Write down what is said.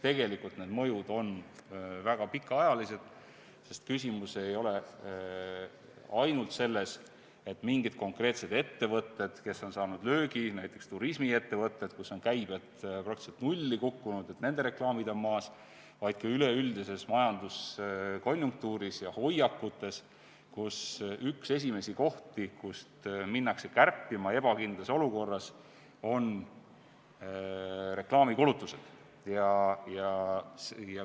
Tegelikult on need mõjud väga pikaajalised, sest küsimus ei ole ainult selles, et mingid konkreetsed ettevõtted on saanud löögi, näiteks turismiettevõtted, kus on käive praktiliselt nulli kukkunud, reklaamid on maas, vaid ka üleüldises majanduskonjunktuuris ja hoiakutes, sest üks esimesi kohti, kust hakatakse kärpima ebakindlas olukorras, on reklaamikulutused.